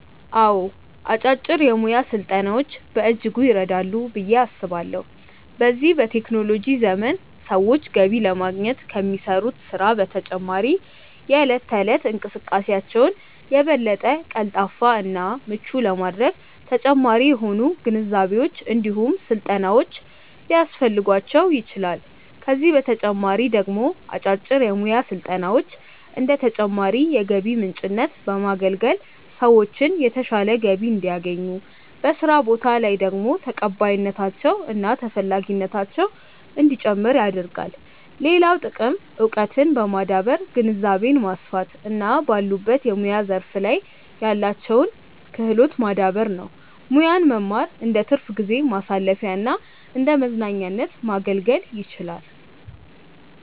አዎ አጫጭር የሙያ ስልጠናዎች በእጅጉ ይረዳሉ ብዬ አስባለሁ። በዚህ በቴክኖሎጂ ዘመን ሰዎች ገቢ ለማግኘት ከሚሰሩት ስራ በተጨማሪ የእለት ተእለት እንቅስቃሴያቸውን የበለጠ ቀልጣፋ እና ምቹ ለማድረግ ተጨማሪ የሆኑ ግንዛቤዎች እንዲሁም ስልጠናዎች ሊያስፈልጓቸው ይችላል፤ ከዚህ በተጨማሪ ደግሞ አጫጭር የሙያ ስልጠናዎች እንደ ተጨማሪ የገቢ ምንጭነት በማገልገል ሰዎችን የተሻለ ገቢ እንዲያገኙ፤ በስራ ቦታ ላይ ደግሞ ተቀባይነታቸው እና ተፈላጊነታቸው እንዲጨምር ያደርጋል። ሌላው ጥቅም እውቀትን በማዳበር ግንዛቤን ማስፋት እና ባሉበት የሙያ ዘርፍ ላይ ያላቸውን ክህሎት ማዳበር ነው። ሙያን መማር እንደትርፍ ጊዜ ማሳለፊያና እንደመዝናኛነት ማገልገል ይችላል።